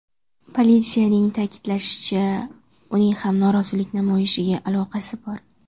Politsiyaning ta’kidlashicha, uning ham norozilik namoyishiga aloqasi bor.